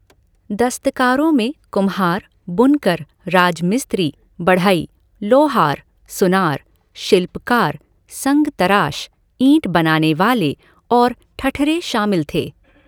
दस्तकारों में कुम्हार, बुनकर, राजमिस्त्री, बढ़ई, लोहार, सुनार, शिल्पकार, संग तराश, ईंट बनाने वाले और ठठरे शामिल थे।